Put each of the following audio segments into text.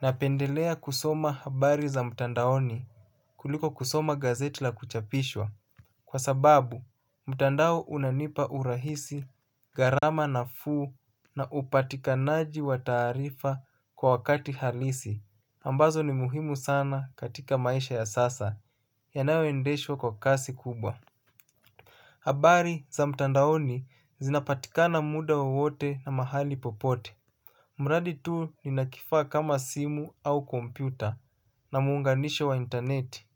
Napendelea kusoma habari za mtandaoni, kuliko kusoma gazeti la kuchapishwa kwa sababu mtandao unanipa urahisi gharama nafuu na upatikanaji wa taarifa kwa wakati halisi ambazo ni muhimu sana katika maisha ya sasa yanayoendeshwa kwa kasi kubwa. Habari za mtandaoni zinapatika na muda waote na mahali popote mradi tu ninakifaa kama simu au kompyuta na muunganisho wa intaneti.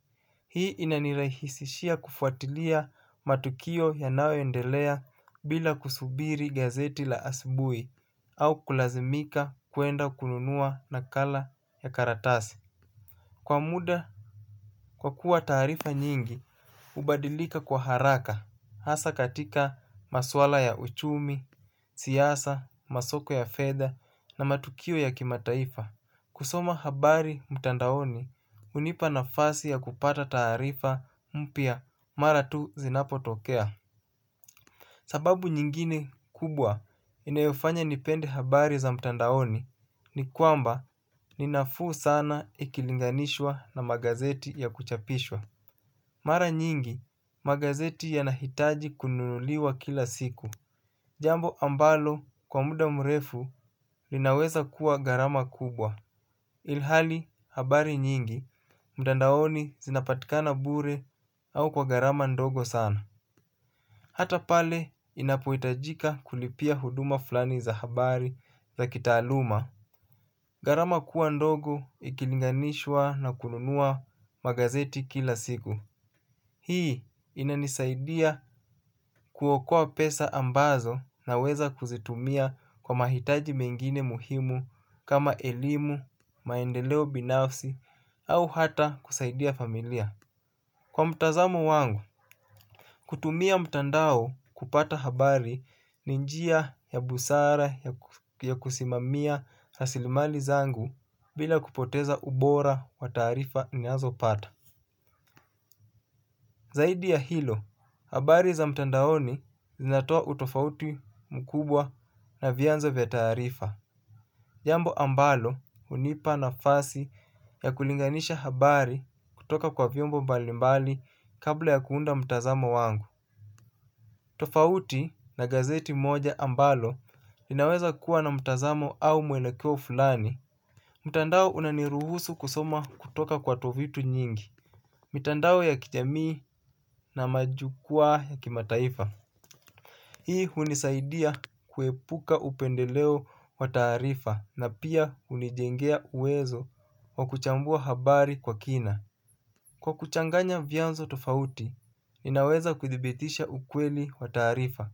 Hii inanirahisishia kufuatilia matukio yanaoendelea bila kusubiri gazeti la asubui au kulazimika kwenda kununua nakala ya karatasi. Kwa muda kwa kuwa taarifa nyingi, hubadilika kwa haraka hasa katika maswala ya uchumi, siasa, masoko ya fedha na matukio ya kimataifa. Kusoma habari mtandaoni hunipa nafasi ya kupata taarifa mpya mara tu zinapotokea. Sababu nyingine kubwa inayofanya nipende habari za mtandaoni ni kwamba ni nafuu sana ikilinganishwa na magazeti ya kuchapishwa. Mara nyingi, magazeti yanahitaji kununuliwa kila siku. Jambo ambalo kwa muda mrefu linaweza kuwa gharama kubwa. Ilhali habari nyingi, mutandaoni zinapatika bure au kwa gharama ndogo sana. Hata pale inapoitajika kulipia huduma fulani za habari za kitaaluma. Garama kuwa ndogo ikilinganishwa na kununua magazeti kila siku. Hii inanisaidia kuokoa pesa ambazo naweza kuzitumia kwa mahitaji mengine muhimu kama elimu, maendeleo binafsi, au hata kusaidia familia. Kwa mtazamo wangu, kutumia mtandao kupata habari ni njia ya busara ya kusimamia rasilimali zangu bila kupoteza ubora wa taarifa ninazopata. Zaidi ya hilo, habari za mtandaoni zinatoa utofauti mkubwa na vianzo vya tarifa. Jambo ambalo hunipa nafasi ya kulinganisha habari kutoka kwa vyombo mbalimbali kabla ya kuunda mtazamo wangu. Tofauti na gazeti moja ambalo linaweza kuwa na mtazamo au mwelekeo fulani mtandao unaniruhusu kusoma kutoka kwa tovuti nyingi. Mitandao ya kijamii na majukwaa ya kimataifa. Hii hunisaidia kuepuka upendeleo wa taarifa na pia hunijengea uwezo wa kuchambua habari kwa kina, kwa kuchanganya vyanzo tofauti, ninaweza kuthibitisha ukweli wa taarifa.